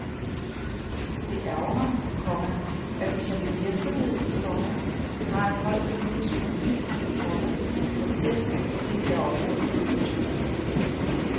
Det ærgrer mig, komma at vi som en virksomhed, komma der har en høj politisk profil, komma får tæsk på det her område. punktum